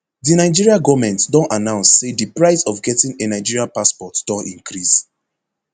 di nigeria goment don announce say di price of getting a nigeria passport don increase